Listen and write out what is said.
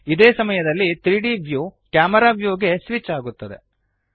ಇದೇ ಸಮಯಯಲ್ಲಿ 3ದ್ ವ್ಯೂ ಕ್ಯಾಮೆರಾ ವ್ಯೂಗೆ ಸ್ವಿಚ್ ಆಗುತ್ತದೆ